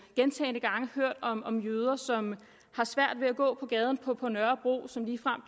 gentagne gange hørt om om jøder som har svært ved at gå på gaden på på nørrebro og som ligefrem